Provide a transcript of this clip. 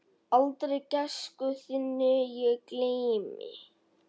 Aldrei gæsku þinni ég gleymi.